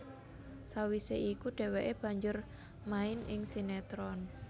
Sawisé iku dhèwèké banjur main ing sinetron